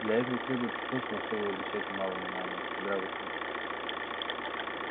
для этого требуется то на что вы обращаете мало внимания здравый смысл